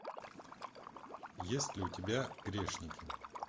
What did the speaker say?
есть ли у тебя грешники